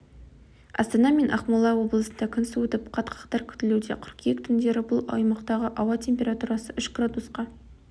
астана мен ақмола облысында күн суытып қатқақтар күтілуде қыркүйек түндері бұл аймақтағы ауа температурасы үш градусқа